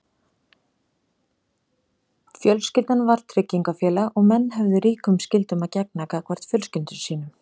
Fjölskyldan var tryggingafélag og menn höfðu ríkum skyldum að gegna gagnvart fjölskyldum sínum.